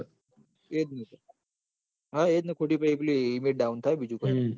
એ જ મુકો હવ સીડી પહી પેલી imagedowd થાય બીજું કોઈ ના